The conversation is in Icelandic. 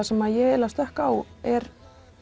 sem ég stökk á er